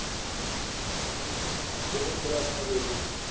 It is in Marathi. वॊलीबॉल पण चान्गलाय ते पण खेळायला पाहिजे होत तू